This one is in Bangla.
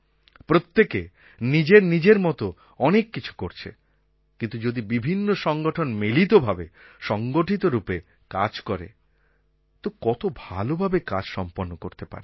প্রত্যেকে নিজের নিজের মতো অনেক কিছু করছে কিন্তু যদি বিভিন্ন সংগঠন মিলিত ভাবে সংগঠিত রূপে কাজ করে তো কত ভালোভাবে কাজ সম্পন্ন করতে পারে